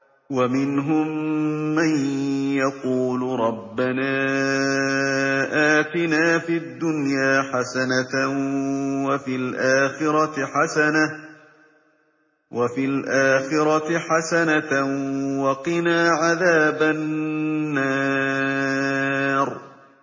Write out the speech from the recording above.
وَمِنْهُم مَّن يَقُولُ رَبَّنَا آتِنَا فِي الدُّنْيَا حَسَنَةً وَفِي الْآخِرَةِ حَسَنَةً وَقِنَا عَذَابَ النَّارِ